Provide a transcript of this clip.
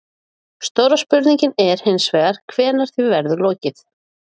Stóra spurningin er hins vegar hvenær því verður lokið?